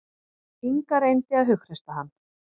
Inga reyndi að hughreysta hann.